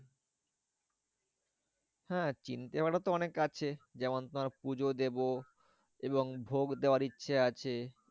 হ্যাঁ চিন্তাভাবনা তো অনেক আছে যেমন তোমার পুজো দেব এবং ভোগ দেওয়ার ইচ্ছে আছে।